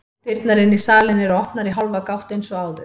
Dyrnar inn í salinn eru opnar í hálfa gátt eins og áður.